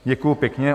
Děkuju pěkně.